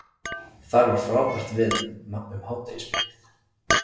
Þar var frábært veður um hádegisbilið